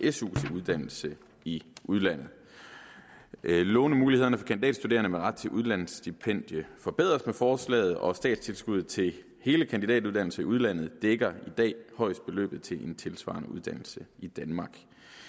uddannelse i udlandet lånemulighederne for kandidatstuderende med ret til udlandsstipendium forbedres med forslaget og statstilskuddet til hele kandidatuddannelsen i udlandet dækker i dag højst beløbet til en tilsvarende uddannelse i danmark